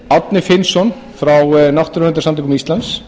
árni finnsson frá náttúruverndarsamtökum íslands